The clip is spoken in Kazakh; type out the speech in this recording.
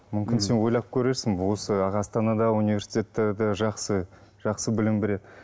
мүмкін сен ойлап көрерсің осы астанада университеттер де жақсы жақсы білім береді